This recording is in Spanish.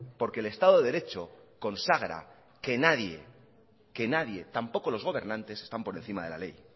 porque el estado de derecho consagra que nadie que nadie tampoco los gobernantes están por encima de la ley